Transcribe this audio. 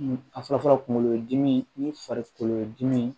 A fɔlɔ fɔlɔ kunkolodimi ni farikolodimi